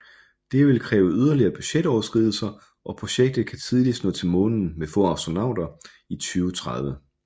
Det vil kræve yderligere budgetoverskridelser og projektet kan tidligst nå til månen med få astronauter i 2030